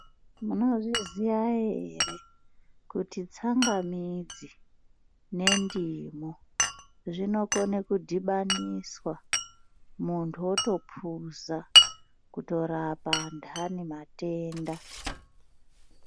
Munozviziya ere kuti tsangamidzi nendimu zvinokone kudhibaniswa. Muntu otopuza kutorapa andani matenda.